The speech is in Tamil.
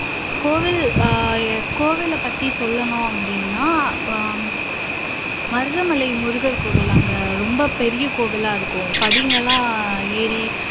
கோவில் அஹ் கோவிலைப்பத்தி சொல்லனும் அப்படினா ஹம் மருதமலை முருகர் கோவில் அங்க ரொம்ப பெரிய கோவிலா இருக்கும் படிகள்லாம் ஏறி